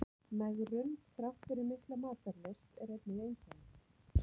Megrun þrátt fyrir mikla matarlyst er einnig einkenni.